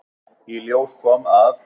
Í ljós kom, að